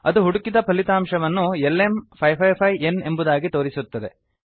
ಅದು ಹುಡುಕಿದ ಫಲಿತಾಂಶವನ್ನು lm555ನ್ ಎಂಬುದಾಗಿ ತೋರಿಸುತ್ತದೆ